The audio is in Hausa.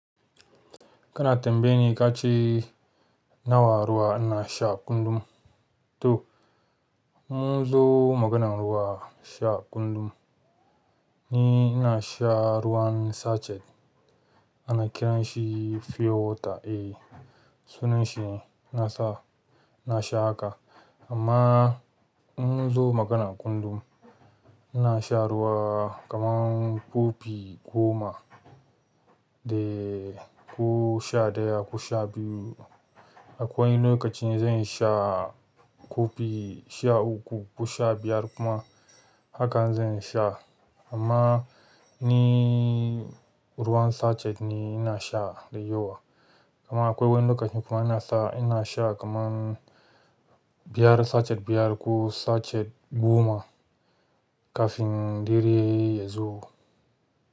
Kana tambaye ni ka ce nawa ruwa ina sha kullum. To, mun zo maganan ruwa sha kullum. Ni ina sha ruwan sachet ana kiranshi pure water. Eh sunashi ne, ina sha, ina sha haka. Amma in mun zo maganan kullum, ina sha ruwa kaman kofi goma dae ko sha ɗaya, ko sha biyu. Akwai lokacin zan sha kofi sha uku ko sha biyar kuma hakan zan sha. Amma ni ruwan sachet ne ina sha dai yawa. Kaman akwai wani lokacin kuma ina sa ina sha kaman biyar sachet biyar ko sachet goma kafin dare yazo.